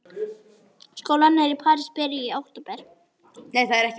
Skólarnir í París byrja í október.